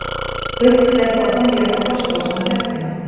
Uppselt á tónleiks Frostrósa um helgina